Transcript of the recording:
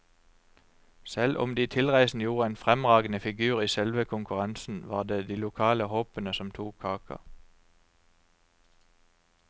Selv om de tilreisende gjorde en fremragende figur i selve konkurransen, var det de lokale håpene som tok kaka.